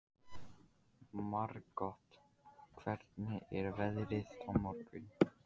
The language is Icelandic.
Margot, hvernig er veðrið á morgun?